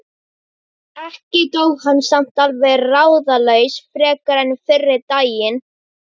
Ekki dó hann samt alveg ráðalaus frekar en fyrri daginn.